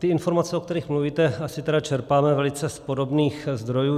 Ty informace, o kterých mluvíte, asi tedy čerpáme z velice podobných zdrojů.